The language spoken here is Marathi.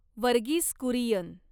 वर्गीस कुरियन